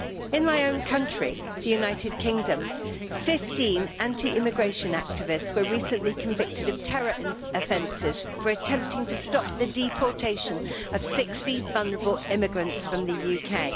In my own country, the United Kingdom, 15 anti deportation activists were recently convicted of terror offences for attempting to stop the deportation of 60 vulnerable immigrants from the UK.